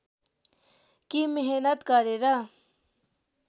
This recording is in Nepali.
कि मेहनत गरेर